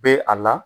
Be a la